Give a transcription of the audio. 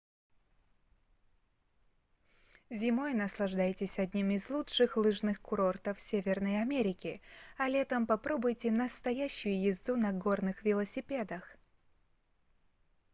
зимой наслаждайтесь одним из лучших лыжных курортов северной америки а летом попробуйте настоящую езду на горных велосипедах